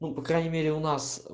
ну по крайней мере у нас